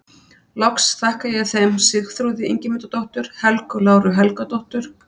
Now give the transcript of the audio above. Loks þakka ég þeim Sigþrúði Ingimundardóttur, Helgu Láru Helgadóttur